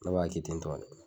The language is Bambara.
Ne ba kɛ tentɔ de.